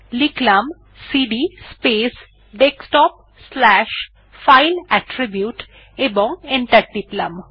লিখলাম CD space desktop slash file attribute এবং enter টিপলাম